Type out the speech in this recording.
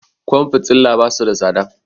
Kwan fitila basu da tsada